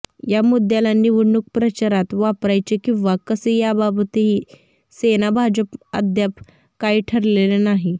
या मुद्द्याला निवडणूक प्रचारात वापरायचे किंवा कसे याबाबतही सेना भाजपमध्ये अद्याप काही ठरलेले नाही